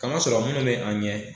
Kamasɔrɔ minnu be an ɲɛ